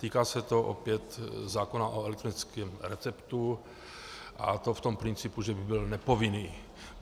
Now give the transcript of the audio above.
Týká se to opět zákona o elektrickém receptu, a to v tom principu, že by byl nepovinný.